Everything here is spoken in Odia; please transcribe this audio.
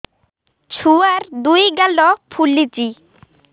ଛୁଆର୍ ଦୁଇ ଗାଲ ଫୁଲିଚି